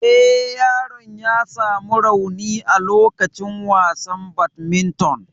Eh, yaron ya samu rauni a lokacin wasan badminton.